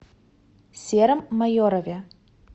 сером майорове